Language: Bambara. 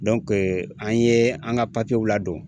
an ye an ka papiyew ladon.